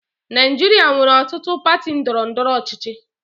Naijiria nwere ọtụtụ pati ndọrọ ndọrọ ọchịchị.